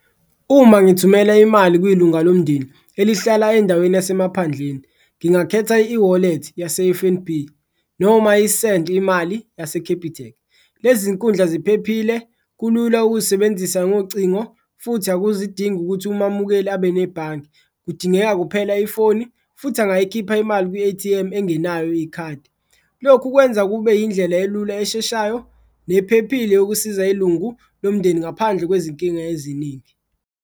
Uma ngithumela imali kwilunga lomndeni elihlala endaweni yasemaphandleni ngingakhetha i-eWallet yase-F_N_B noma i-Send iMali yaseCapitec, lezi zinkundla ziphephile, kulula ukuzisebenzisa ngocingo futhi akuzidingi ukuthi umamukeli abe nebhange. Kudingeka kuphela ifoni futhi angayikhipha imali kwi-A_T_M engenayo ikhadi, lokhu kwenza kube yindlela elula esheshayo nephephile yokusiza ilungu lomndeni ngaphandle kwezinkinga eziningi.